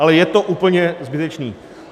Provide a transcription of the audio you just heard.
Ale je to úplně zbytečné.